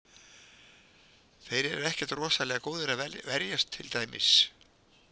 Þeir eru ekkert rosalega góðir að verjast til dæmis.